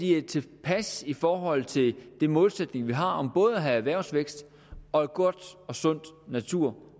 er tilpas i forhold til den målsætning vi har om både at have erhvervsvækst og en god og sund natur